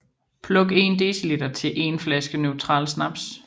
Pluk en dl til en 1 flaske neutral snaps